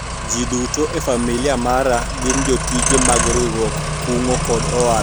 jii duto e familia mara gin jotije mag riwruog kungo kod hola